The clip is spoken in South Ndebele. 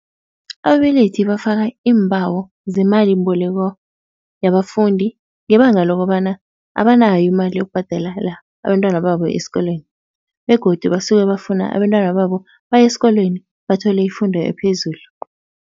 Ababelethi bafaka iimbawo zemalimboleko yabafundi ngebanga lokobana abanayo imali yokubhadelela abentwana babo esikolweni begodu basuke bafuna abentwana babo baye esikolweni bathole ifundo ephezulu.